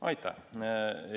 Aitäh!